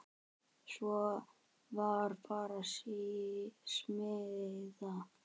Svo var bara smíðað.